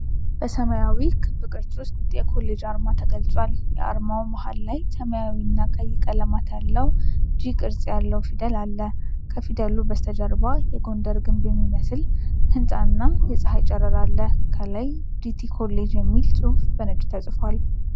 በሰማያዊ ክብ ቅርጽ ውስጥ የኮሌጅ አርማ ተገልጿል። የአርማው መሃል ላይ ሰማያዊና ቀይ ቀለማት ያለው “ጂ” ቅርጽ ያለው ፊደል አለ። ከፊደሉ በስተጀርባ የጎንደርን ግምብ የሚመስል ሕንፃና የፀሐይ ጨረር አለ። ከላይ "ጂቲ ኮሌጅ" የሚል ጽሑፍ በነጭ ተጽፏል።